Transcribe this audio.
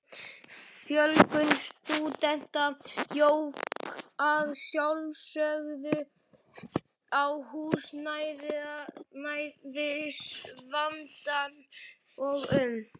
Fjölgun stúdenta jók að sjálfsögðu á húsnæðisvandann og um